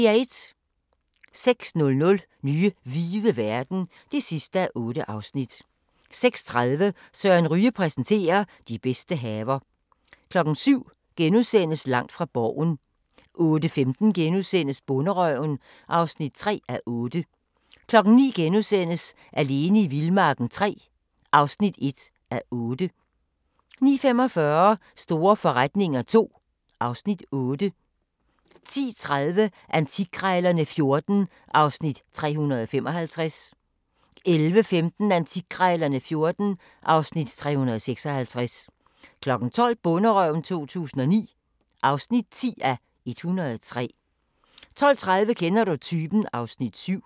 06:00: Nye hvide verden (8:8) 06:30: Søren Ryge præsenterer: De bedste haver 07:00: Langt fra Borgen * 08:15: Bonderøven (3:8)* 09:00: Alene i vildmarken III (1:8)* 09:45: Store forretninger II (Afs. 8) 10:30: Antikkrejlerne XIV (Afs. 355) 11:15: Antikkrejlerne XIV (Afs. 356) 12:00: Bonderøven 2009 (10:103) 12:30: Kender du typen? (Afs. 7)